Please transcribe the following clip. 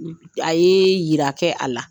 A ye yira kɛ a la.